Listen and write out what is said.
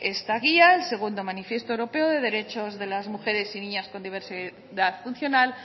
esta guía el segundo manifiesto europeo de derechos de las mujeres y niñas con diversidad funcional